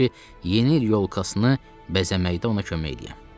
İstəyirdi ki, Yeni yolkasını bəzəməkdə ona kömək eləyəm.